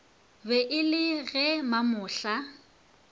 be e le ge mamohla